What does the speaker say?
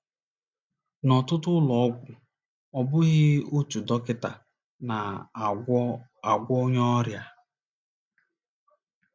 N’ọtụtụ ụlọ ọgwụ, ọ bụghị otu dọkịta na - agwọ agwọ onye ọrịa.